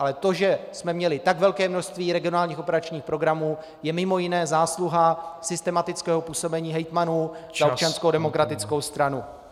Ale to, že jsme měli tak velké množství regionálních operačních programů, je mimo jiné zásluha systematického působení hejtmanů za Občanskou demokratickou stranu.